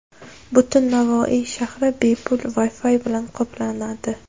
Butun Navoiy shahri bepul Wi-Fi bilan qoplanadi.